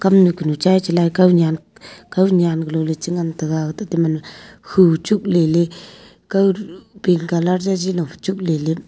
kam kanu chai chalai kownyan kownyan galo changan taga tahte gaman ma khu chuk leley kow ru pink colour jagi lophi chukley ley --